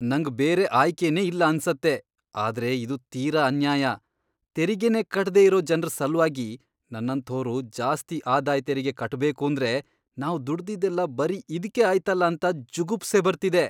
ನಂಗ್ ಬೇರೆ ಆಯ್ಕೆನೇ ಇಲ್ಲ ಅನ್ಸತ್ತೆ, ಆದ್ರೆ ಇದು ತೀರಾ ಅನ್ಯಾಯ.. ತೆರಿಗೆನೇ ಕಟ್ದೇ ಇರೋ ಜನ್ರ್ ಸಲ್ವಾಗಿ ನನ್ನಂಥೋರು ಜಾಸ್ತಿ ಆದಾಯ್ ತೆರಿಗೆ ಕಟ್ಬೇಕೂಂದ್ರೆ ನಾವ್ ದುಡ್ದಿದ್ದೆಲ್ಲ ಬರೀ ಇದ್ಕೇ ಆಯ್ತಲ ಅಂತ ಜುಗುಪ್ಸೆ ಬರ್ತಿದೆ.